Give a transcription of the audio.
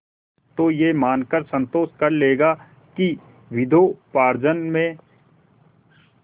तो यह मानकर संतोष कर लेगा कि विद्योपार्जन में